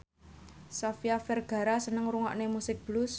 Sofia Vergara seneng ngrungokne musik blues